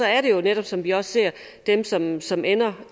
er det jo netop som vi også ser dem som som ender